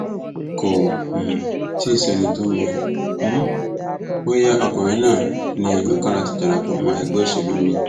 kò um tí ì sẹni tó mọ um bóyá ọkùnrin náà ní i lọkàn láti darapọ mọ ẹgbẹ òṣèlú miín